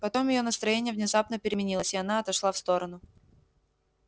потом её настроение внезапно переменилось и она отошла в сторону